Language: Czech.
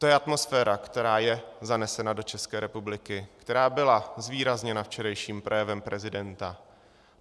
To je atmosféra, která je zanesena do České republiky, která byla zvýrazněna včerejším projevem prezidenta.